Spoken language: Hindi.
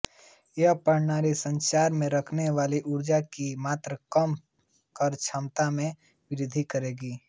यह प्रणाली प्रसारण में खोने वाली ऊर्जा की मात्रा कम कर क्षमता में वृद्धि करेगी